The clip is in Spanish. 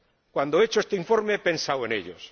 Cuando he hecho este informe he pensado en ellos